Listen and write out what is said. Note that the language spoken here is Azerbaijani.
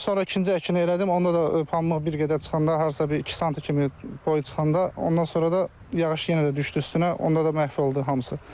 Sonra ikinci əkini elədim, onda pambıq bir qədər çıxanda, harasa bir 2 sant kimi boyu çıxanda, ondan sonra da yağış yenə də düşdü üstünə, onda da məhv oldu hamısı.